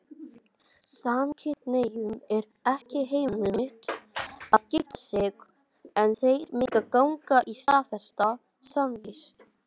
Samkynhneigðum er ekki heimilt að gifta sig, en þeir mega ganga í staðfesta samvist.